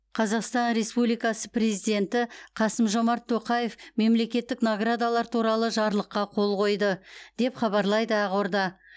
қазақстан республикасы президенті қасым жомарт тоқаев мемлекеттік наградалар туралы жарлыққа қол қойды деп хабарлайды ақорда